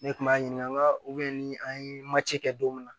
Ne kun b'a ɲininka ni an ye macɛ kɛ don min na